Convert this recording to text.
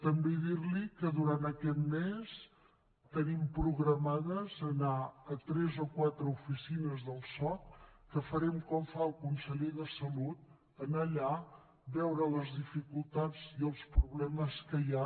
també dir li que durant aquest mes tenim programat anar a tres o quatre oficines del soc que farem com fa el conseller de salut anar allà veure les dificultats i els problemes que hi ha